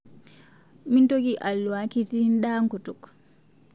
Mintoki alwua kitii ndaa nkutuk